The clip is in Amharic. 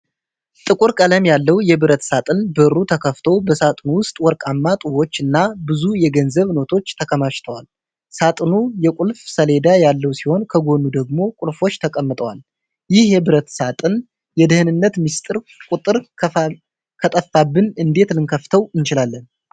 ጥቁር ቀለም ያለው የብረት ሳጥን በሩ ተከፍቶ በሳጥኑ ውስጥ ወርቃማ ጡቦች እና ብዙ የገንዘብ ኖቶች ተከማችተዋል። ሳጥኑ የቁልፍ ሰሌዳ ያለው ሲሆን ከጎኑ ደግሞ ቁልፎች ተቀምጠዋል። ይህ የብረት ሳጥን የደህንነት ምስጢር ቁጥር ከጠፋብን እንዴት ልንከፍተው እንችላለን?